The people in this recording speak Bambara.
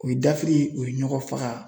O ye dafiri o ye ɲɔgɔn faga